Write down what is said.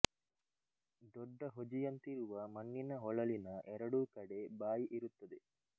ದೊಡ್ಡ ಹೊಜಿಯಂತಿರುವ ಮಣ್ಣಿನ ಹೊಳಲಿನ ಎರಡೂ ಕಡೆ ಬಾಯಿ ಇರುತ್ತದೆ